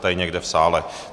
Tady někde v sále.